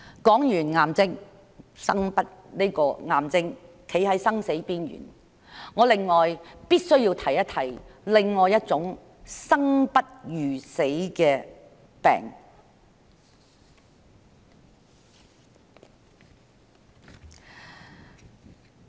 談完令人站在生死邊緣的癌症，我必須說一說另一種令人生不如死的疾病。